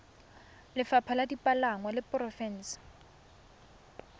lefapha la dipalangwa la porofense